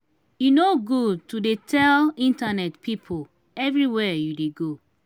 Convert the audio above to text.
e no good to dey tell internet pipu everywhere you dey go.